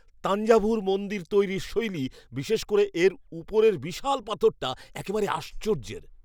তাঞ্জাভুর মন্দির তৈরির শৈলী, বিশেষ করে এর উপরর বিশাল পাথরটা, একবারে আশ্চর্যের!